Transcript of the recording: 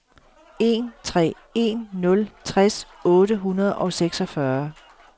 en tre en nul tres otte hundrede og seksogfyrre